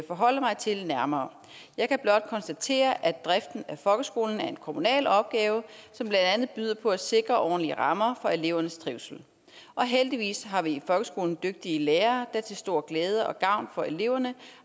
forholde mig til nærmere jeg kan blot konstatere at driften af folkeskolen er en kommunal opgave som blandt andet byder på at sikre ordentlige rammer for elevernes trivsel og heldigvis har vi i folkeskolen dygtige lærere der til stor glæde og gavn for eleverne